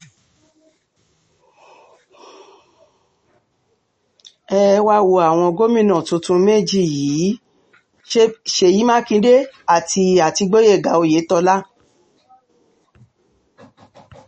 ẹ um wáá wo àwọn gómìnà tuntun méjì yìí um ṣèyí mákindé àti àti gboyega oyetola